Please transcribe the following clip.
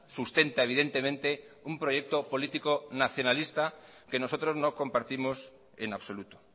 sustenta evidentemente un proyecto político nacionalista que nosotros no compartimos en absoluto